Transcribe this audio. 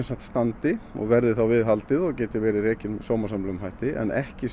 standi og verði viðhaldið og geti verið rekin með sómasamlegum hætti en ekki